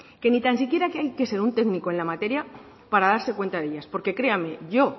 que ni tan siquiera hay que ser un técnico en la materia para darse cuenta de ellas porque créanme yo